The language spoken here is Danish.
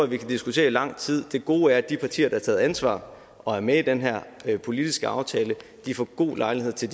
vi kan diskutere i lang tid det gode er at de partier der har taget ansvar og er med i den her politiske aftale får god lejlighed til